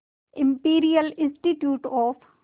imperial institute of